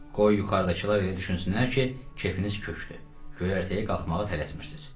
Qoy yuxarıdakılar elə düşünsünlər ki, kefiniz köçdü, göyərtəyə qalxmağa tələsmirsiz.